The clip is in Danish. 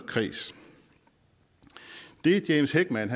kreds det james heckman